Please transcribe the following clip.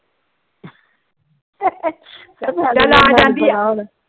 ਚ